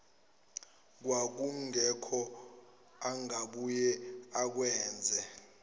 kwakungekho angabuye akwenze